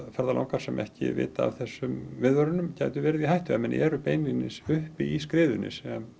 ferðalangar sem ekki vita af þessum viðvörunum gætu verið í hættu ef menn eru beinlínis uppi í skriðunni sem